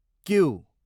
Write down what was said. Q